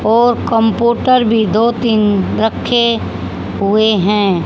और कंपोटर भी दो तीन रखे हुए हैं।